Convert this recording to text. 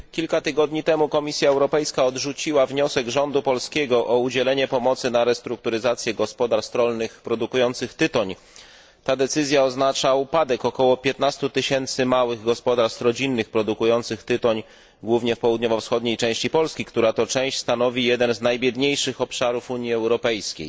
Kilka tygodni temu Komisja Europejska odrzuciła wniosek rządu polskiego o udzielenie pomocy na restrukturyzację gospodarstw rolnych produkujących tytoń. Ta decyzja oznacza upadek około 15 tysięcy małych gospodarstw rodzinnych produkujących tytoń głównie w południowo wschodniej części Polski, która to część stanowi jeden z najbiedniejszych obszarów Unii Europejskiej.